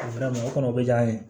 o kɔnɔ bɛ diya an ye